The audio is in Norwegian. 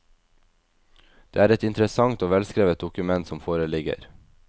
Det er et interessant og velskrevet dokument som foreligger.